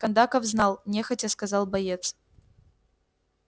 кондаков знал нехотя сказал боец